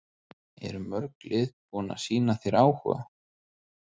Eru mörg lið búin að sýna þér áhuga?